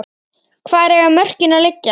Hvar eiga mörkin að liggja?